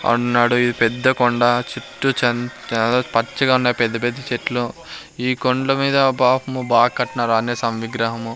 ఉన్నాడు ఇది పెద్ద కొండ చుట్టూ చంద్ యాదో పచ్చగా ఉన్నాయి పెద్ద-పెద్ద చెట్లు. ఈ కొండ మీద పాపము బా కట్నారు అంజనయ సామి విగ్రహము.